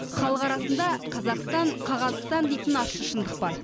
халық арасында қазақстан қағазстан деген ащы шындық бар